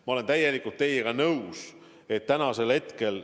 Ma olen täielikult teiega nõus.